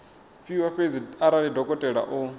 fhiwa fhedzi arali dokotela o